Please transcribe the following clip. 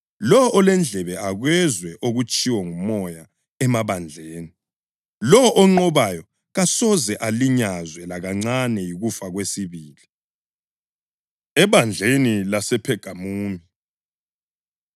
Lowo olendlebe, akezwe okutshiwo nguMoya emabandleni. Lowo onqobayo kasoze alinyazwe lakancane yikufa kwesibili.” Ebandleni LasePhegamumi